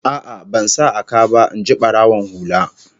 A'a, ban sa a ka ba, in ji barawon hula